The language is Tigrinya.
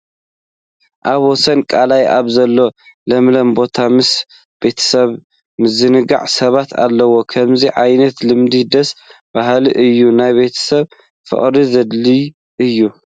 ኣብ ወሰን ቃላይ ኣብ ዘሎ ለምለም ቦታ ምስ ቤተሰቦም ዝዘናግዑ ሰባት ኣለዉ፡፡ ከምዚ ዓይነት ልምዲ ደስ በሃሊ እዩ፡፡ ናይ ቤተሰብ ፍቕሪ ዘደልድል እዩ፡፡